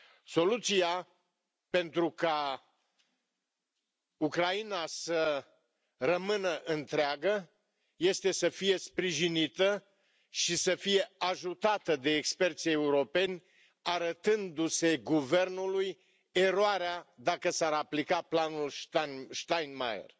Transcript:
Soluția pentru ca Ucraina să rămână întreagă este să fie sprijinită și să fie ajutată de experții europeni, arătându se guvernului eroarea, dacă s ar aplica planul Steinmeier.